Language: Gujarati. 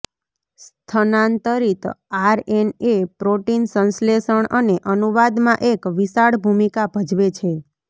સ્થાનાંતરિત આરએનએ પ્રોટીન સંશ્લેષણ અને અનુવાદમાં એક વિશાળ ભૂમિકા ભજવે છે